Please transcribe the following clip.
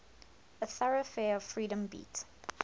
a thoroughfare of freedom beat